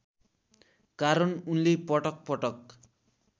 कारण उनले पटकपटक